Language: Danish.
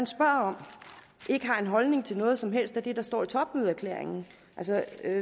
spørger om ikke har en holdning til noget som helst af det der står i topmødeerklæringen